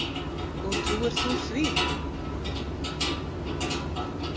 Og trúir þú því?